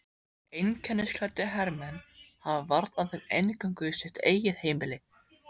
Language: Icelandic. Einkennisklæddir hermenn hafa varnað þeim inngöngu í sitt eigið heimili.